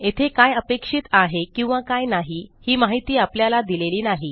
येथे काय अपेक्षित आहे किंवा काय नाही ही माहिती आपल्याला दिलेली नाही